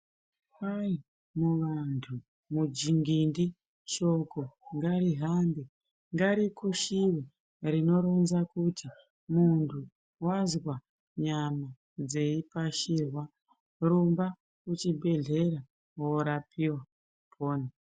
Kwai ,muvantu ,mudzingindi, shoko ngarihambe , ngarikushiwe rinoronza kuti muntu wazwa nyama dzeipashirwa rumba kuchibhedhleya worapiwa upone.